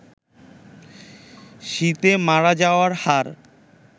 শীতে মারা যাওয়ার হার